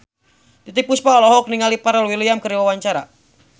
Titiek Puspa olohok ningali Pharrell Williams keur diwawancara